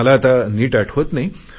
मला आता नीट आठवत नाही